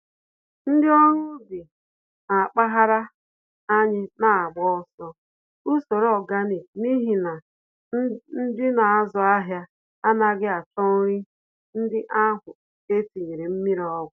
Ndị ọrụ ubi na mpaghara anyị nagbaso usoro ọganik n'ihi na ndị nazụ ahịa anaghị achọ nri ndị ahụ etinyere mmírí ọgwụ